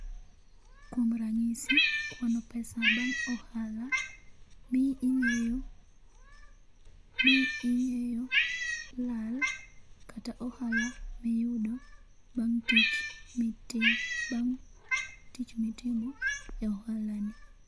Kuom ranyisi kwano pesa bang' ohala mi ing'eyo mi ing'eyo lal kata ohala miyudo bang' tich miti bang' tich mitimo bang' ohalani.